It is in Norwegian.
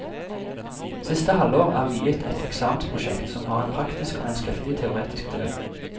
Siste halvår er viet et eksamensprosjekt som har en praktisk og en skriftlig teoretisk del.